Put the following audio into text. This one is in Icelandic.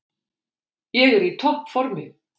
Ég er í toppformi.